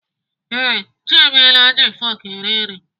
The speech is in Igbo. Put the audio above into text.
Ee, Chiemela ji fọk gị eri nri.